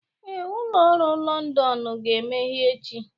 Ee, ụlọ ọrụ Londonu ga-emeghe echi.